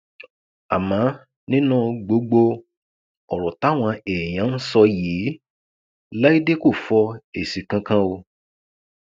àmọ nínú gbogbo ọrọ táwọn èèyàn ń sọ yìí láìdé kò fọ èsì kankan o